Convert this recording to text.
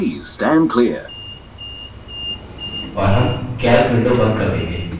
और हम calc window and कर देंगे